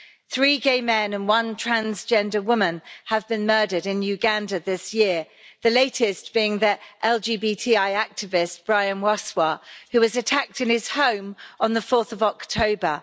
Three gay men and one transgender woman have been murdered in Uganda this year, the latest being the LGBTI activist, Brian Wasswa, who was attacked in his home on 4 October.